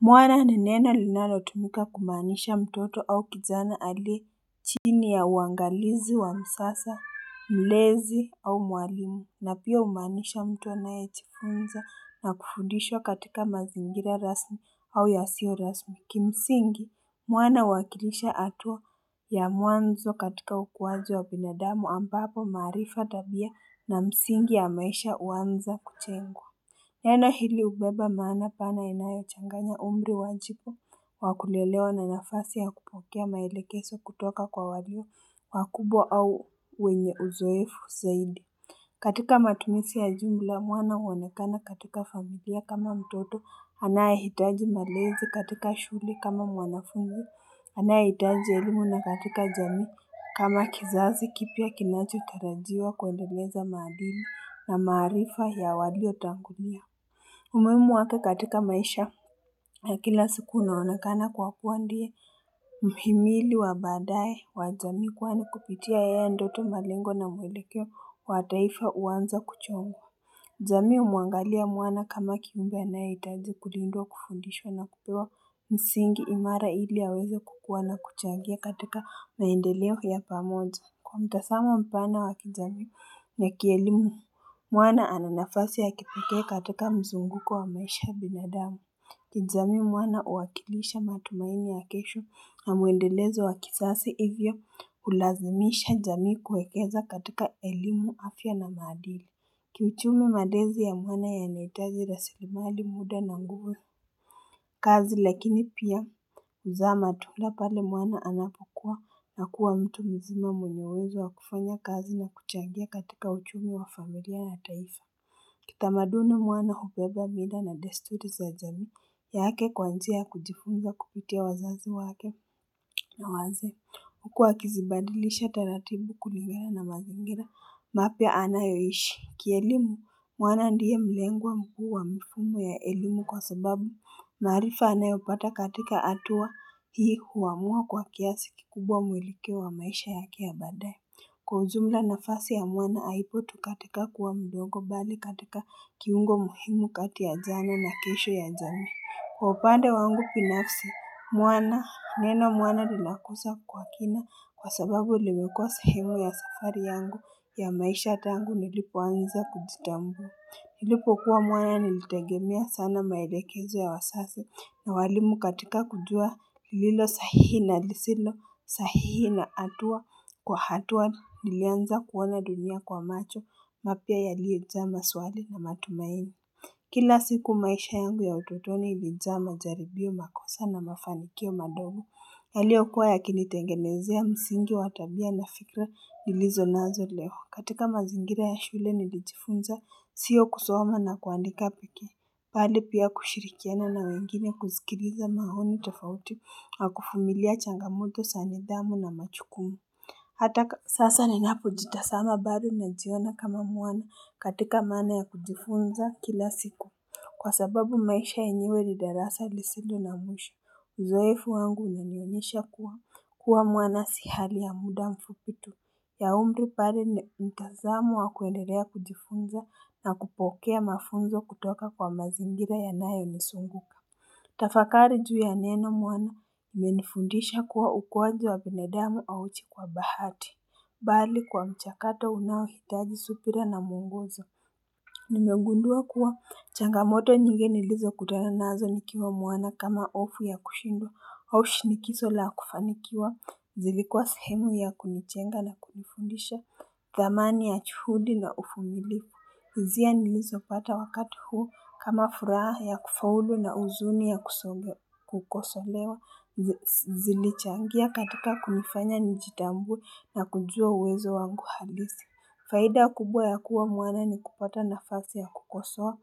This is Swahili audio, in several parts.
Mwana ni neno linalo tumika kumaanisha mtoto au kijana aliye chini ya uangalizi wa msasa mlezi au mwalimu na pia humaanisha mtu anaye jfunza na kufudishwa katika mazingira rasmi au yasio rasmi, kimsingi mwana huwakilisha hatua ya mwanzo katika ukuaji wa binadamu ambapo maarifa, tabia na msingi ya maisha huanza kujengwa Neno hili hubeba maana pana inayochanganya umri wa jipa, wa kulelewa na nafasi ya kupokea maelekezo kutoka kwa walimu, wakubwa au wenye uzoefu zaidi. Katika matumizi ya jumla, mwana huonekana katika familia kama mtoto, anayehitaji malezi katika shule kama mwanafunzi, anayehitaji elimu na katika jamii. Kama kizazi kipya kinachotarajiwa kuendeleza madini na maarifa ya waliotangulia. Umuhimu wake katika maisha ya kila siku unaonekana kwa kuwa ndiye mhimili wa baadaye wa jamii, kwani kupitia yeye ndo tu malengo na mwelekeo wa taifa huanza kuchongwa. Jamii humuangalia mwana kama kiumbe anayehitaji kulindwa, kufundishwa na kupewa msingi imara ili aweza kukua na kuchangia katika maendeleo ya pamoja. Kwa mtazamo mpana wa kijamii na kielimu mwana ana nafasi ya kipekee katika mzunguko wa maisha ya binadamu. Kijamii mwana huwakilisha matumaini ya kesho na muendelezo wa kizazi, hivyo kulazimisha jamii kuekeza katika elimu, afya na maadili. Kiuchumi malezi ya mwana yanahitaji rasili mali, muda na nguvu kazini lakini pia mza matula pale mwana anapokua na kuwa mtu mzima mwenye uwezo wa kufanya kazi na kuchangia katika uchumi wa familia ya taifa Kitamaduni mwana hubeba mila na desturi za jamii yake kuanzia kujifunza kupitia wazazi wake na wazee, Huku akizibadilisha taratibu kulingana na mazingira mapya anayoishi. Kielimu, mwana ndiye mlengwa mkuu wa mifumo ya elimu kwa sababu. Maarifa anayopata katika hatuwa hii huamua kwa kiasi kikubwa muelekeo wa maisha yake ya baadaye. Kwa ujumla nafasi ya mwana, haipo tu katika kuwa mdogo bali katika kiungo muhimu kati ya jana na kesho ya jamii. Kwa upande wangu binafsi, mwana, neno mwana lilakosa kwa kina kwa sababu lilimekua sehemu ya safari yangu ya maisha tangu nilipoanza kujitambua. Nilipokuwa mwana nilitegemea sana maelekezo ya wazazi na walimu katika kujua lililo sahihi na lisilo sahihi na hatua kwa hatua nilianza kuona dunia kwa macho mapya yaliyo jaa maswali na matumaini. Kila siku maisha yangu ya utotoni ilijaa majaribio, makosa na mafanikio madogo yaliyo kuwa yakinitengenezea msingi wa tabia na fikra nilizo nazo leo, katika mazingira ya shule nilijifunza sio kusoma na kuandika pekee, bali pia kushirikiana na wengine kusikiliza maoni tofauti wa kuvumilia changa moto za nidhamu na majukumu Hata sasa ninapo jitazama bado najiona kama mwana katika maana ya kujifunza kila siku. Kwa sababu maisha yenyewe ni darasa lisilo na mwisho, uzoefu wangu unanionyesha kuwa mwana si hali ya muda mfupi tu. Ya umri pale mtazamo wa kuendelea kujifunza na kupokea mafunzo kutoka kwa mazingira yanayo nizunguka. Tafakari juu ya neno mwana limenifundisha kuwa ukuaji wa binadamu hauuji kwa bahati. Bali kwa mchakato unaohitaji subira na muongozo. Nimegundua kuwa changamoto nyingi nilizo kutana nazo nikiwa mwana kama hofu ya kushindwa au shinikizo la kufanikiwa. Zilikuwa sehemu ya kunijenga na kunifundisha dhamani ya juhudi na uvumilivu. Hisia nilizo pata wakati huo kama furaha ya kufaulu na huzuni ya kukosolewa zilichangia katika kunifanya nijitambue na kujua uwezo wangu halisi. Faida kubwa ya kuwa mwana ni kupata nafasi ya kukosoa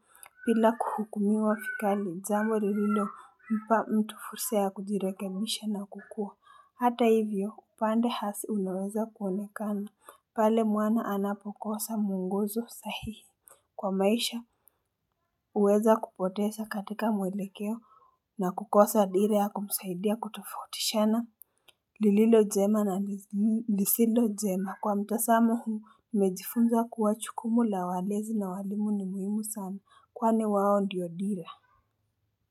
bila kuhukumiwa vikali jambu lilompa mtu fursa ya kujirekebisha na kukua. Hata hivyo upande hasi unaweza kuonekana pale mwana anapokosa muonguzo sahihi Kwa maisha huweza kupoteza katika mwelekeo na kukosa dire ya kumsaidia kutofautishana lililo jema na lisilo jema, kwa mtazamo huu, nimejifunza kuwa jukumu la walezi na walimu ni muhimu sana, kwani wao ndiyo dira.